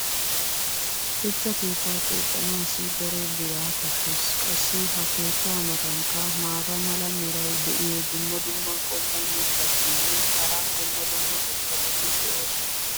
shuchcha keettaa keexxanaassi daro biraa koshshees. qassi ha keettaa matankka maata mala meray diyo dumma dumma qommo mitattinne hara dumma dumma irxxabati de'oosona.